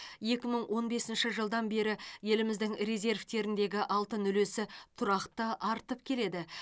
екі мың он бесінші жылдан бері еліміздің резервтеріндегі алтын үлесі тұрақты артып келеді